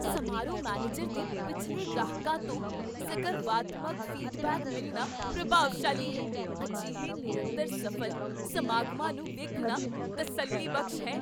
ਸਮਾਰੋਹ ਮੈਨੇਜਰ ਦੇ ਪਿਛਲੇ ਗ੍ਰਾਹਕਾਂ ਤੋਂ ਸਕਰਵਾਤਮਕ ਫੀਡਬੈਕ ਮਿਲਣਾ ਪ੍ਰਭਾਵਸ਼ਾਲੀ ਹੈ। ਅਜਿਹੇ ਨਿਰੰਤਰ ਸਫ਼ਲ ਸਮਾਗਮਾਂ ਨੂੰ ਵੇਖਣਾ ਤਸੱਲੀਬਖਸ਼ ਹੈ।